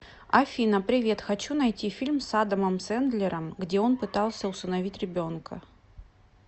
афина привет хочу найти фильм с адамом сэндлером где он пытался усыновить ребенка